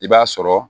I b'a sɔrɔ